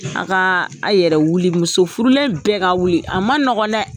A ka a yɛrɛ wuli, musofurulen bɛɛ ka wuli, a ma nɔgɔ dɛ.